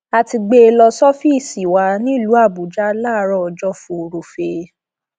a ti gbé e lọ sọfíìsì wa nílùú àbújá láàárọ ọjọ furuufee